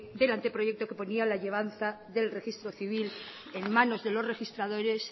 del anteproyecto que ponía la llevanza del registro civil en manos de los registradores